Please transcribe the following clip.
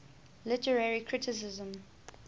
literary criticism